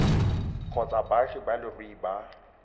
kgotsa baagi ba leruri ba